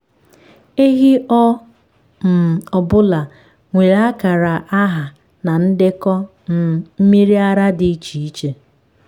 ehi ọ um bụla nwere akara aha na ndekọ um mmiri ara dị iche iche.